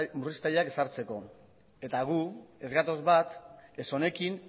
ezartzeko eta gu ez gatoz bat ez honekin